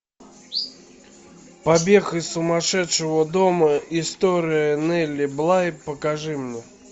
побег из сумасшедшего дома история нелли блай покажи мне